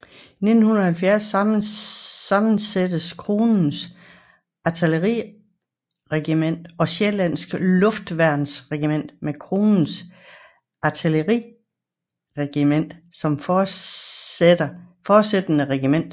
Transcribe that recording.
I 1970 sammenlægges Kronens Artilleriregiment og Sjællandske Luftværnsregiment med Kronens Artilleriregiment som fortsættende regiment